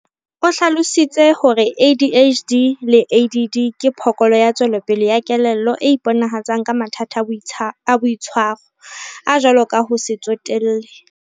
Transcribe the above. O hlalositse hore ADHD le ADD ke phokolo ya tswelopele ya kelello e iponahatsang ka mathata a boitshwaro, a jwalo ka ho se tsotelle.